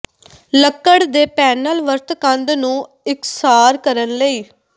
ਲੱਕੜ ਦੇ ਪੈਨਲ ਵਰਤ ਕੰਧ ਨੂੰ ਇਕਸਾਰ ਕਰਨ ਲਈ